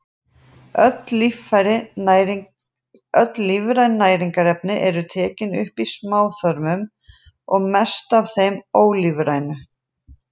Öll lífræn næringarefni eru tekin upp í smáþörmunum og mest af þeim ólífrænu.